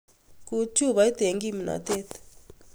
Kut chupoit eng kipno'tet